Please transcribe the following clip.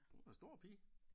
Hun er en stor pige